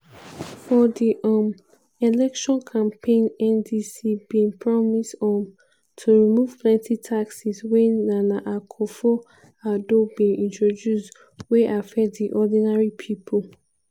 for di um election campaign ndc bin promise um to remove plenty taxes wey nana akufo-addo bin introduce wey affect di ordinary pipo.